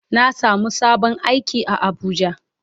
Na samu sabon aiki a abuja.